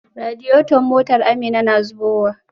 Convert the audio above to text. Radiator motar Amina na zubowa.